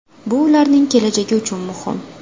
Bu ularning kelajagi uchun muhim.